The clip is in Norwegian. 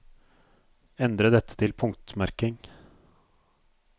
Endre dette til punktmerking